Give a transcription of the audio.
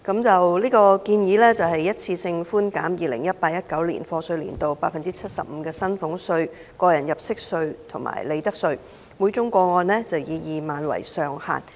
這項建議是一次過寬減 2018-2019 課稅年度 75% 的薪俸稅、個人入息課稅及利得稅，每宗個案以2萬元為上限。